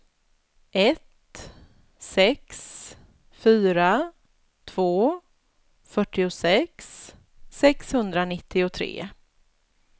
ett sex fyra två fyrtiosex sexhundranittiotre